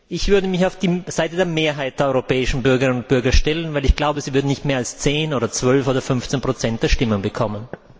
Ich würde mich auf die Seite der Mehrheit der europäischen Bürgerinnen und Bürger stellen, weil ich glaube, sie würden nicht mehr als 10 oder 12 oder 15 der Stimmen bekommen.